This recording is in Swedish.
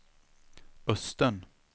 Östen